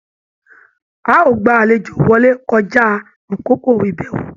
A o gbà àlejò wọlé kọja àkókò ibẹwo!